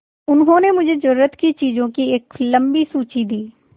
उन्होंने मुझे ज़रूरत की चीज़ों की एक लम्बी सूची दी